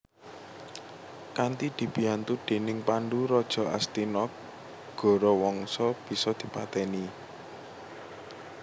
Kanthi dibiyantu dèning Pandhu raja Astina Gorawangsa bisa dipatèni